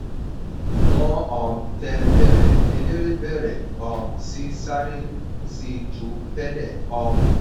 wọ́n um tẹ bẹ̀rẹ̀ eléré bèrè um sí i sáré síi ju tẹ́lẹ̀. um